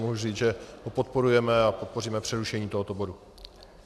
Mohu říct, že ho podporujeme a podpoříme přerušení tohoto bodu.